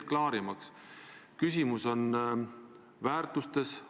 Te räägite Riigikogu liikmest Urmas Reitelmannist.